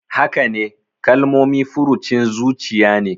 Hakane, Kalmomi furucin zuciya ne.